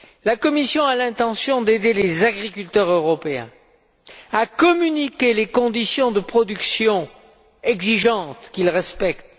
La Commission a l'intention d'aider les agriculteurs européens à communiquer les conditions de production exigeantes qu'ils respectent.